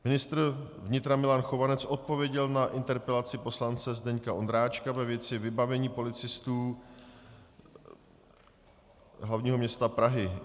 Ministr vnitra Milan Chovanec odpověděl na interpelaci poslance Zdeňka Ondráčka ve věci vybavení policistů hlavního města Prahy.